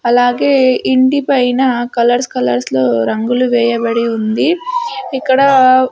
అలాగే ఇంటి పైన కలర్స్ కలర్స్ లో రంగులు వేయబడి ఉంది ఇక్కడా--